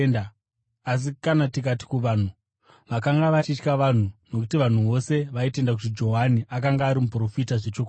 Asi kana tikati kuvanhu…” (Vakanga vachitya vanhu, nokuti vanhu vose vaitenda kuti Johani akanga ari muprofita zvechokwadi.)